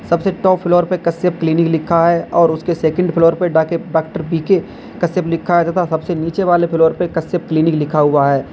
सबसे top floor पर Kashyap clinic लिखा है और उसके सेकंड फ्लोर पे डॉक्टर बी के कश्यप लिखा है तथा सबसे नीचे वाले फ्लोर पे कश्यप क्लिनिक लिखा हुआ है।